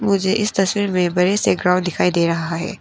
मुझे इस तस्वीर में बड़े से ग्राउंड दिखाई दे रहा है।